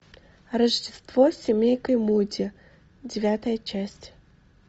рождество с семейкой муди девятая часть